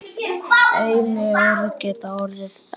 Einnig orð geta orðið eldfim.